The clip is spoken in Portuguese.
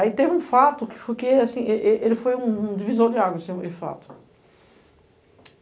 Aí teve um fato, ele foi um divisor de águas, esse fato.